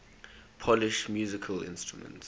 polish musical instruments